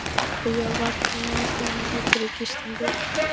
Og ég á varla nóga peninga fyrir gistingu.